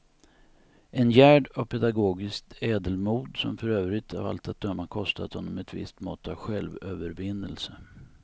En gärd av pedagogiskt ädelmod som för övrigt av allt att döma kostat honom ett visst mått av självövervinnelse.